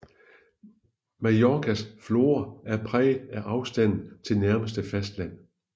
Mallorcas flora er præget af afstanden til nærmeste fastland